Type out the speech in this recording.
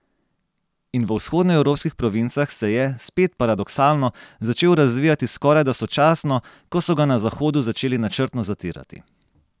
In v vzhodnoevropskih provincah se je, spet paradoksalno, začel razvijati skorajda sočasno, ko so ga na Zahodu začeli načrtno zatirati.